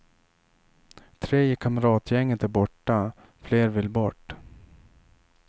Tre i kamratgänget är borta, fler vill bort.